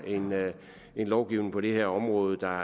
en lovgivning på det her område der